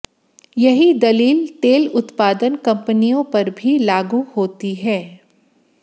यही दलील तेल उत्पादन कंपनियों पर भी लागू होती है